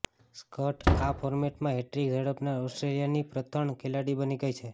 સ્કટ આ ફોર્મેટમાં હેટ્રિક ઝડપનાર ઓસ્ટ્રેલિયાની પ્રથણ ખેલાડી બની ગઈ છે